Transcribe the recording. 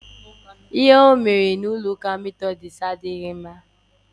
Ihe o mere na metọdis chọọchị adịghị mma.